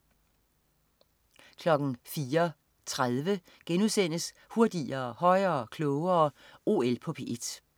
04.30 Hurtigere, højere, klogere. OL på P1*